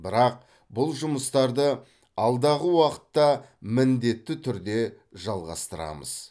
бірақ бұл жұмыстарды алдағы уақытта міндетті түрде жалғастырамыз